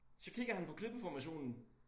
Så kigger han på klippeformationen